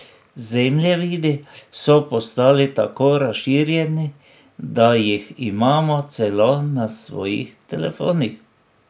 Zemljevidi so postali tako razširjeni, da jih imamo celo na svojih telefonih.